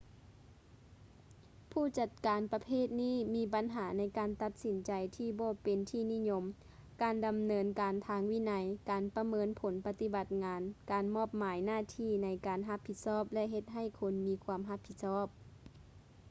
ຜູ້ຈັດການປະເພດນີ້ມີບັນຫາໃນການຕັດສິນໃຈທີ່ບໍ່ເປັນທີ່ນິຍົມ ການດຳເນີນການທາງວິໄນ ການປະເມີນຜົນປະຕິບັດງານ ການມອບໝາຍໜ້າທີ່ໃນການຮັບຜິດຊອບ ແລະ ເຮັດໃຫ້ຄົນມີຄວາມຮັບຜິດຊອບ